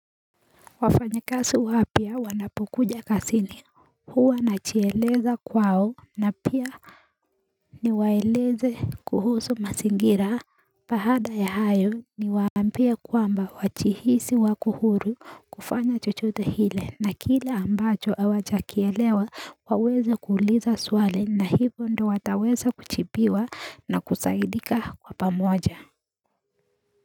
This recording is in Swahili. Wafanyakazi wapia wanapokuja kazini, huwa najieleza kwao na pia niwaeleze kuhusu mazingira Baada ya hayo niwaambia ya kwamba wajihisi wako huru kufanya chochote kile na kile ambacho awajakielewa waweze kuuliza swali, na hivyo ndo wataweza kujibiwa na kusaidika kwa pamoja.